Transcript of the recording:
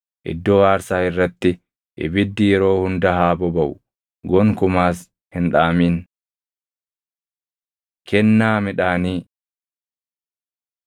Iddoo aarsaa irratti ibiddi yeroo hunda haa bobaʼu; gonkumaas hin dhaamin. Kennaa Midhaanii